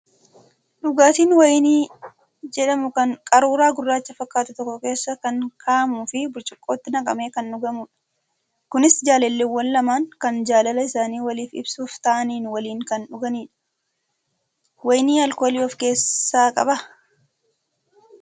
Dhugaatiin wayinii jedhamu kan qaruuraa gurraacha fakkaatu tokko keessa kan kaa'amuu fi burcuqqootti naqamee kan dhugamudha. Kunis jaalalleewwan lamaan kan jaalala isaanii waliif ibsuuf taa'anii waliin kan dhuganidha. Wayiniin alkoolii of keessaa qabaa?